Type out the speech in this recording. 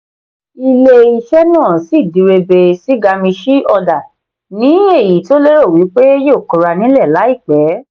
ilé iṣé náà sì n direbe sí gamishee order ní èyí tó lérò wípé yóò kóra nílè láìpé.